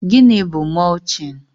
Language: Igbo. Gịnị bụ mọlching?